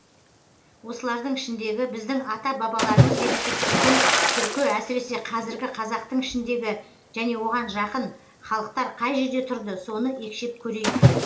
осылардың ішіндегі біздің ата бабаларымыз деп есептейтін түркі әсіресе қазіргі қазақтың ішіндегі және оған жақын халықтар қай жерде тұрды соны екшеп көрейік